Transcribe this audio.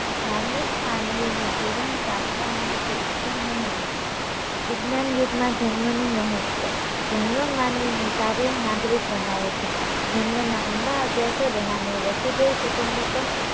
ધાર્મિક માનવીનું જીવન પ્રાર્થનામય કે ઈશ્વરમય હોય છે. વિજ્ઞાનયુગમાં ધર્મનું મહત્વ ધર્મ માનવી ને સારો નાગરિક બનાવે છે ધર્મના ઊંડા અભ્યાસ વડે માનવી વસુધૈવ કુટુંમ્બક્મ